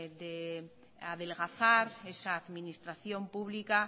de adelgazar esa administración pública